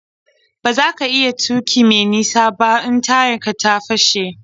Ba za ka iya tuƙi me nisa ba in tayar ka ta fashe.